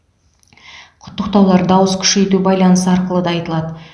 құттықтаулар дауыс күшейту байланысы арқылы да айтылады